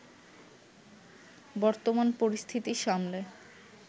বর্তমান পরিস্থিতি সামলে